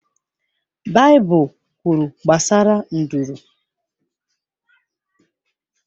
Baịbụl kwuru gbasara nduru.